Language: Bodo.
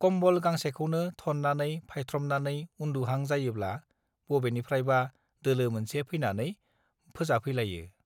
कम्बल गांसेखौनो थननानै फायथ्रमनानै उन्दुहां जायोब्ला बबेनिफ्रायबा दोलो मोनसे फैनानै फोजाफैलायो